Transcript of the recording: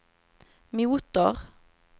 motor